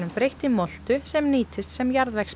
breytt í moltu sem nýtist sem